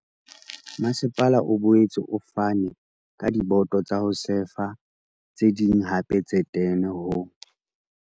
Masepala o boetse o fane ka diboto tsa ho sefa tse ding hape tse 10 ho